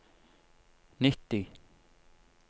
nitti